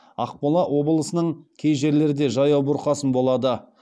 ақмола облысының кей жерлерде жаяу бұрқасын болады